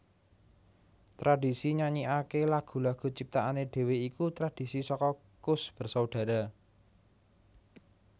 Tradhisi nyanyikaké lagu lagu ciptaané dhewé iku tradhisi saka Koes Bersaudara